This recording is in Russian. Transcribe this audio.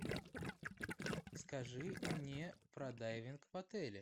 скажи мне про дайвинг в отеле